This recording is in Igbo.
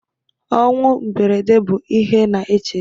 Ọnwụ mberede bụ ihe na-echegbu